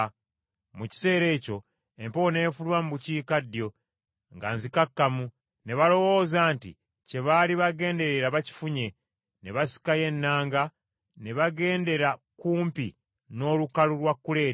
Mu kiseera ekyo empewo n’efuluma mu bukiikaddyo nga nzikakkamu, ne balowooza nti kye baali bagenderera bakifunye ne basikayo ennanga ne bagendera kumpi n’olukalu lwa Kuleete.